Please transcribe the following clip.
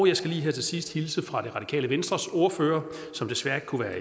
jeg skal lige her til sidst hilse fra det radikale venstres ordfører som desværre ikke kunne være